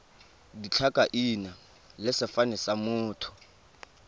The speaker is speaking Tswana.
ditlhakaina le sefane sa motho